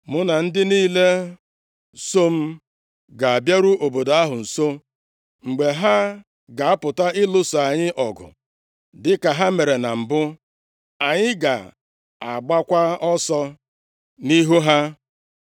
Mụ na ndị niile so m ga-abịaru obodo ahụ nso. Mgbe ha ga-apụta ịlụso anyị ọgụ dịka ha mere na mbụ, anyị ga-agbakwa ọsọ nʼihu ha,